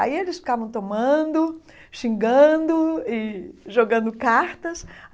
Aí eles ficavam tomando, xingando e jogando cartas.